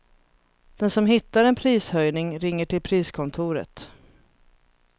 Den som hittar en prishöjning ringer till priskontoret.